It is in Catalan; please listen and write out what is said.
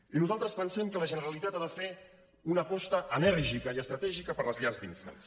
i nosaltres pensem que la generalitat ha de fer una aposta enèrgica i estratègica per les llars d’infants